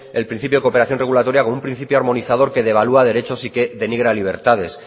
el principio de cooperación regulatoria como un principio armonizador que devalúa derechos y que denigra libertades